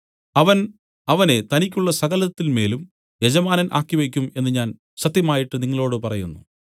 അവൻ അവനെ തനിക്കുള്ള സകലത്തിന്മേലും യജമാനൻ ആക്കിവെക്കും എന്നു ഞാൻ സത്യമായിട്ട് നിങ്ങളോടു പറയുന്നു